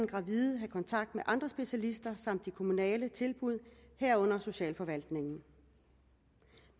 gravide have kontakt med andre specialister samt de kommunale tilbud herunder socialforvaltningen